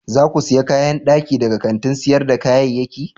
Za ku sayi kayan daki daga kantin sayar da kayayyaki?